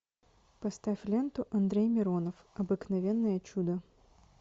поставь ленту андрей миронов обыкновенное чудо